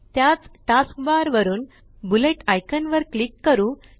त्याच task bar वरुन bullet icon वर क्लिक करू